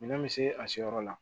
Minɛn bɛ se a seyɔrɔ la